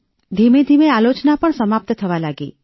ધીમેધીમે આલોચના પણ સમાપ્ત થવા લાગી